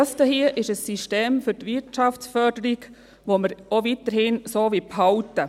Dies hier ist ein System für die Wirtschaftsförderung, welches wir weiterhin so behalten wollen.